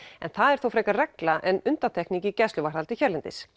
það er þó frekar regla en undantekning í gæsluvarðhaldi hérlendis